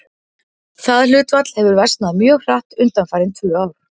Það hlutfall hefur versnað mjög hratt undanfarin tvö ár.